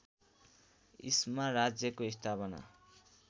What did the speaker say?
इस्मा राज्यको स्थापना